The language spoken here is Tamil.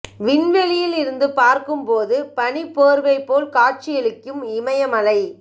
விண்வெளியில் இருந்து பார்க்கும்போது பனிப் போர்வை போல் காட்சியளிக்கும் இமய மலை